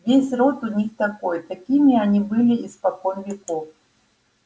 весь род у них такой такими они были испокон веков